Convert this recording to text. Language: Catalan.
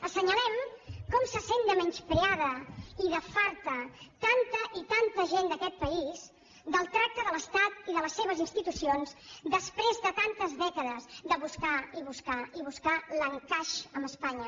assenyalem com se sent de menyspreada i de farta tanta i tanta gent d’aquest país del tracte de l’estat i de les seves institucions després de tantes dècades de buscar i buscar i buscar l’encaix amb espanya